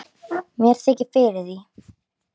Mér þykir fyrir því.